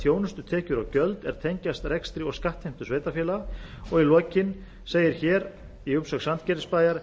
þjónustutekjur og gjöld er tengjast rekstri og skattheimtu sveitarfélaga í lokin segir í umsögn sandgerðisbæjar